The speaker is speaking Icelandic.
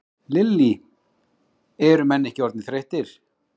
Lillý: Er menn ekki orðnir þreyttir?